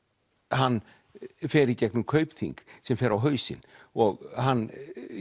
hann fer í gegnum Kaupþing sem fer á hausinn og hann